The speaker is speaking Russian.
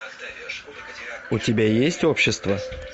у тебя есть общество